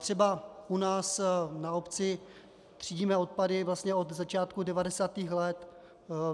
Třeba u nás na obci třídíme odpady vlastně od začátku 90. let.